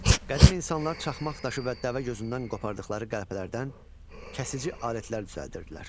Qədim insanlar çaxmaq daşı və dəvəgözündən qopardıqları qəlpələrdən kəsici alətlər düzəldirdilər.